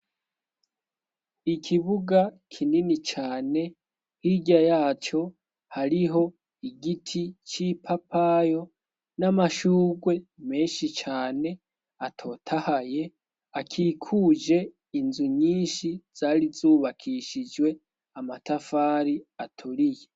Ikibuga kinini cane. Hirya yacyo hariho igiti cy'ipapayi n'amashurwe menshi cane atotahaye akikuje inzu nyinshi zari zubakishijwe amatafari aturiye.